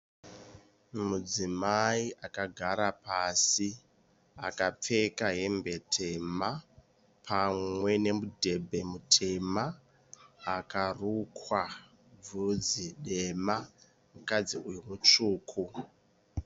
Mudzimai akagara pasi. Akapfeka hembe tema pamwe nemudhebhe mutema. Akarukwa vhudzi dema. Mukadzi uyu mutsvuku.